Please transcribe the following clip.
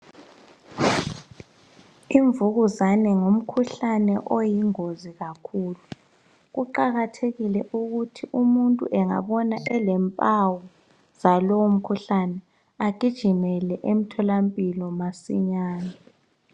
Imvukuzane ngumkhuhlane oyingozi kakhulu kuqakathekile ukuthi umuntu engabona elempawu zalowo mkhuhlane agijimele emthola mpilo masinyane